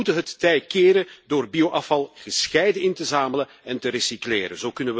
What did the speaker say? We moeten het tij keren door bioafval gescheiden in te zamelen en te recycleren.